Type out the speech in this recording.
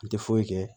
N tɛ foyi kɛ